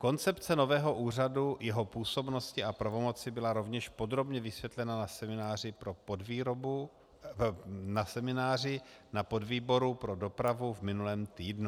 Koncepce nového úřadu, jeho působnosti a pravomoci byla rovněž podrobně vysvětlena na semináři na podvýboru pro dopravu v minulém týdnu.